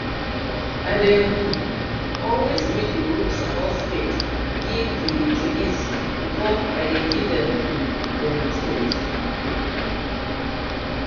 i dey um always read the rules about spade give the trainees before i dey give um them tools